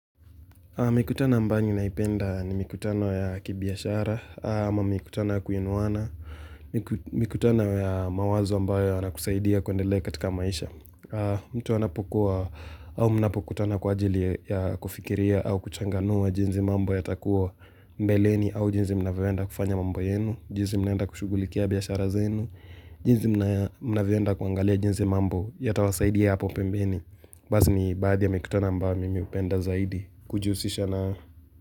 Mikutano ambayo ninaipenda ni mikutano ya kibiashara, ama mikutano ya kuinuana, mikutano ya mawazo ambayo yanakusaidia kuendelea katika maisha. Mtu wanapokuwa au mnapokutana kwa ajili ya kufikiria au kuchanganua jinzi mambo yatakuwa mbeleni au jinzi mnavyoenda kufanya mambo yenu, jinzi mnaenda kushughulikia biashara zenu, jinzi mnavyoenda kuangalia jinzi mambo yatawasaidia hapo pembeni. Basi ni baadhi ya mikutanonambao mimi hupenda zaidi kujihusisha na.